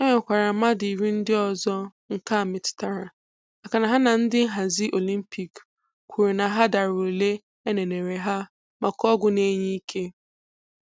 E nwekwará mmadụ iri ndị ọzọ nke a metụtara, makana ha na ndị nhazi Olympiik kwuru na ha dara ụle éneneré hà maka ọgwụ na-enye ike.